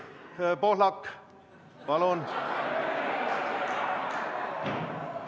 Siim Pohlak, palun!